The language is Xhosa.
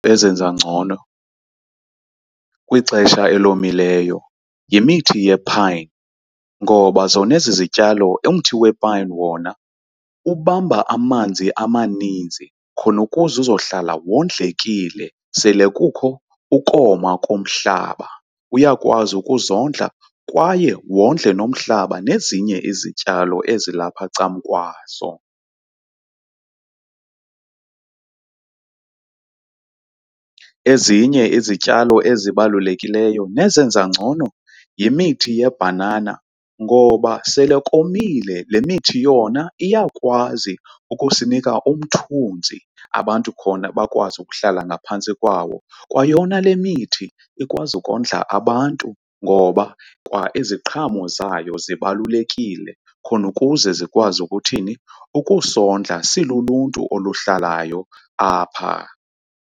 Ezenza ngcono kwixesha elomileyo yimithi yephayini ngoba zona ezi zityalo umthi wepayini wona ubamba amanzi amaninzi khona ukuze uzohlala wondlekile sele kukho ukoma komhlaba. Uyakwazi ukuzondla kwaye wondle nomhlaba nezinye izityalo ezilapha ncamkwaso. Ezinye izityalo ezibalulekileyo nezenza ngcono yimithi yebhanana ngoba sele komile. Le mithi yona iyakwazi ukusinika umthunzi abantu khona bakwazi ukuhlala ngaphantsi kwawo kwayona le mithi ikwazi ukondla abantu ngoba kwa iziqhamo zayo zibalulekile khona ukuze zikwazi ukuthini ukusondla siluluntu oluhlalayo apha.